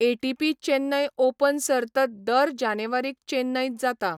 ATP Chennai Open सर्त दर जानेवारीक चेन्नईंत जाता.